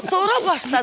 Vyo, sonra başladı.